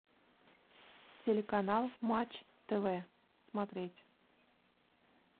телеканал матч тв смотреть